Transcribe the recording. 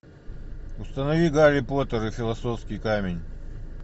установи гарри поттер и философский камень